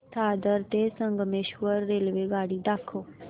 दादर ते संगमेश्वर रेल्वेगाडी दाखव